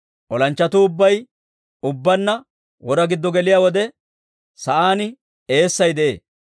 Olanchchatuu ubbay ubbaanna wora giddo geliyaa wode, sa'aan eessay de'ee.